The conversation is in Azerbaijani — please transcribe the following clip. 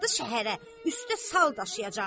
Üstdə sal daşıyacaqlar.